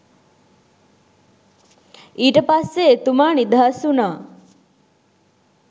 ඊට පස්සේ එතුමා නිදහස් වුණා